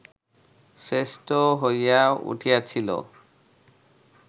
শ্রেষ্ঠ হইয়া উঠিয়াছিল